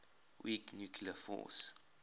weak nuclear force